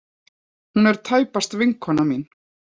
Hún er tæpast vinkona mín.